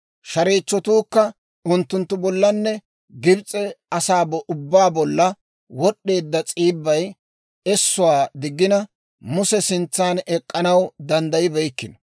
Shareechchatuukka unttunttu bollanne Gibs'e asaa ubbaa bolla wod'd'eedda s'iibbay essuwaa diggina, Muse sintsan ek'k'anaw danddayibeykkino.